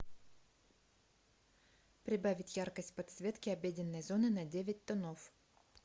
прибавить яркость подсветки обеденной зоны на девять тонов